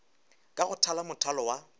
ka go thala mothalo wa